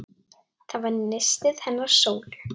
Það var nistið hennar Sólu.